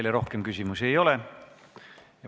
Teile rohkem küsimusi ei ole.